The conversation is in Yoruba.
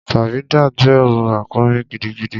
Faridat ń bẹrù ràkúnmí gidigidi.